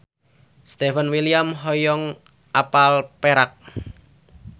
Stefan William hoyong apal Perak